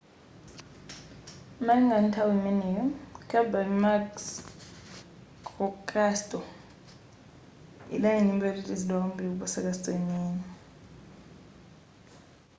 malingana ndi nthawi imeneyo kirby muxloe castle idali nyumba yotetezedwa kwambiri kuposa castle yeniyeni